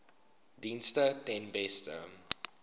dienste ten beste